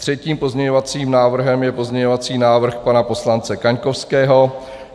Třetím pozměňovacím návrhem je pozměňovací návrh pana poslance Kaňkovského.